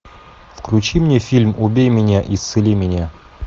включи мне фильм убей меня исцели меня